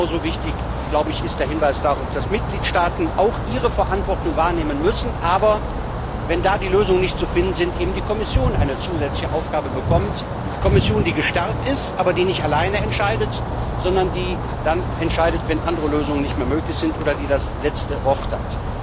Genauso wichtig ist der Hinweis darauf, dass Mitgliedstaaten auch ihre Verantwortung wahrnehmen müssen, aber wenn da die Lösungen nicht zu finden sind, eben die Kommission eine zusätzliche Aufgabe bekommt die Kommission, die gestärkt ist, die aber nicht allein entscheidet, sondern dann entscheidet, wenn andere Lösungen nicht mehr möglich sind, oder die das letzte Wort hat.